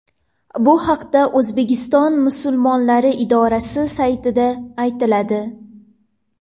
Bu haqda O‘zbekiston Musulmonlari idorasi saytida aytiladi.